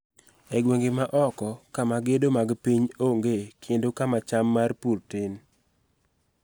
E gwenge ma oko, kama gedo mag piny ongee kendo kama cham mar pur tin.